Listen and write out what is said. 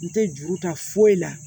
N tɛ juru ta foyi la